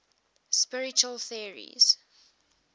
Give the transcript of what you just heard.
spiritual theories